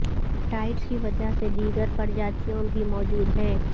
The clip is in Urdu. ٹائڈز کی وجہ سے دیگر پرجاتیوں بھی موجود ہیں